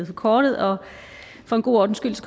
forkortet og for en god ordens skyld